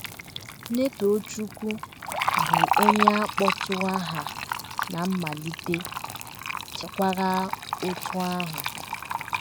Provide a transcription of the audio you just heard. Netochukwu, bụ́ onye a kpọtụrụ aha ná mmalite, chekwara otú ahụ.